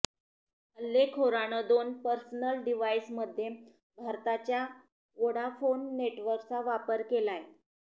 हल्लेखोरानं दोन पर्सनल डिव्हाईसमध्ये भारताच्या व्होडाफोन नेटवर्कचा वापर केलाय